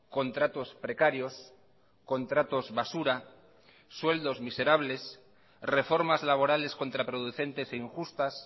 contratos precarios contratos basura sueldos miserables reformas laborales contraproducentes e injustas